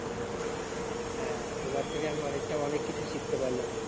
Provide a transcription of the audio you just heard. হ্যাঁ তোমার থেকে আমি অনেকটা অনেক কিছু শিখতে পারলাম